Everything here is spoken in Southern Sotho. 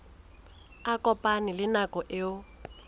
a kopane le nako eo